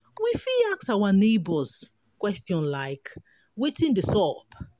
we fit ask our neigbours question like 'wetin de sup'